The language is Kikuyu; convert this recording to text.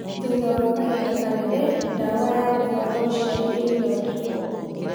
Thutha wa kahinda kanene, ndawa ya gũbanga ũciari ĩgĩthondekuo